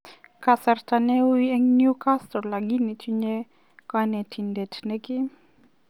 Kokasrta neuu en Newcastle lagini tinye konetindet nemie.